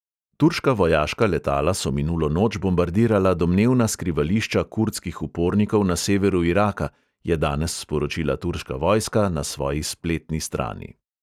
Turška vojaška letala so minulo noč bombardirala domnevna skrivališča kurdskih upornikov na severu iraka, je danes sporočila turška vojska na svoji spletni strani.